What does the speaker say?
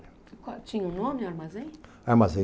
E qual, tinha um nome o armazém? Armazém